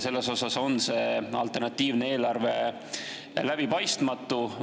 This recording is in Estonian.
Selles osas on see alternatiivne eelarve läbipaistmatu.